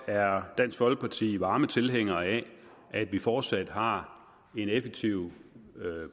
er dansk folkeparti varme tilhængere af at vi fortsat har en effektiv